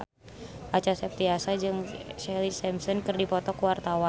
Acha Septriasa jeung Ashlee Simpson keur dipoto ku wartawan